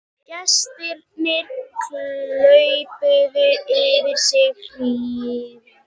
Gestirnir klöppuðu yfir sig hrifnir